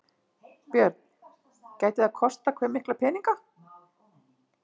Björn: Gæti það kostað hve mikla peninga?